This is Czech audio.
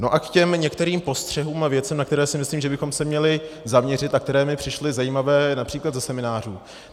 No a k těm některým postřehům a věcem, na které si myslím, že bychom se měli zaměřit a které mi přišly zajímavé například ze seminářů.